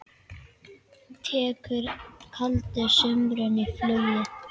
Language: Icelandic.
Tekur kaldur samruni flugið?